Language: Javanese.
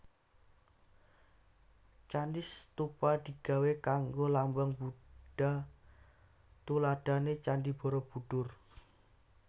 Candi stupa digawé kanggo lambang Budha tuladhané Candhi Borobudur